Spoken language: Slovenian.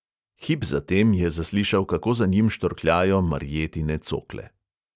Hip za tem je zaslišal, kako za njim štorkljajo marjetine cokle.